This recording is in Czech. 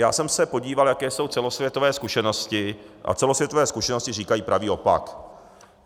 Já jsem se podíval, jaké jsou celosvětové zkušenosti, a celosvětové zkušenosti říkají pravý opak.